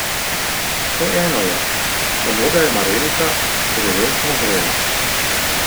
Vseeno je, samo da je marelica drevesno zrela.